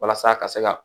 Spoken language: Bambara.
Walasa ka se ka